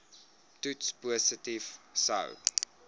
toets positief sou